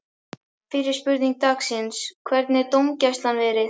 Fyrri spurning dagsins: Hvernig hefur dómgæslan verið?